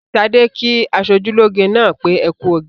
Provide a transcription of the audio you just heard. Ṣadé kí aṣojúlóge náà pé "ẹ kú oge".